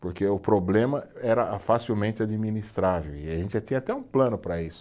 Porque o problema era facilmente administrável e a gente já tinha até um plano para isso.